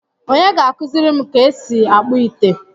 Onye ga-akuziri m ka esi akpu ite?